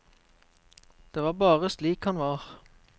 Det var bare slik han var.